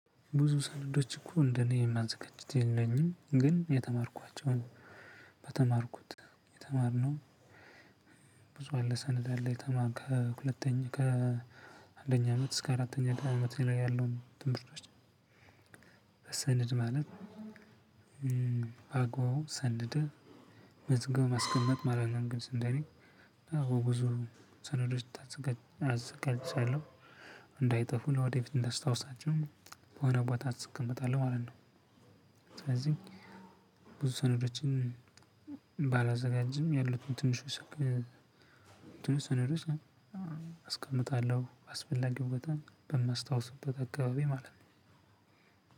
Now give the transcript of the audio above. ብዙ ሰነዶች እኮ እንደኔ የማዘጋጀት የለኝም ግን የተማርኳቸውን በተማርኩት የተማርነው ብዙ አለ ሰነድ አለ የተማርነው ከሁለተኛ ከአንደኛ አመት እስከ አራተኛ አመት ያለው ትምህርቶችን መሰነድ ማለት በአግባቡ ሰንደን መዝገብን ማስቀመጥ ማለት ነው። ልክ እንደኔ እና በጉዞ ሰነዶች ታዘጋጅ አዘጋጅቻለሁ እንዳይጠፉኝ ለወደፊት እንዳስታውሳቸውም በሆነ ቦታ አስቀምጣለሁ ማለት ነው። ስለዚህ ብዙ ሰነዶችን ባላዘጋጅም ያሉትን ትንሽ ሰክል ትንሽ ሰነዶች አስቀምጣለሁ አስፈላጊውን በጣም በማስታውስበት አካባቢ ማለት ነው።